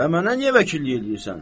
və mənə niyə vəkillik eləyirsən?